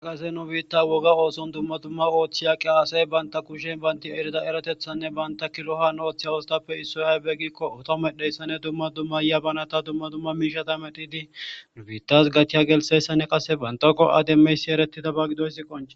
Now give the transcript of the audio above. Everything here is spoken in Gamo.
aqase nu biitta woga ooson dumma dumma ooththiya qiaasey baynta kushen baynti erida eratethanne banta kilohon ooththiya wostappe issoy aybe giikko oto medheyssanne dumma dumma yabanata dumma dumma miishata medhidi nu biittas gatiya gelsessanne qasse bantako ademmeysi eretida ba gidoyssi qonche.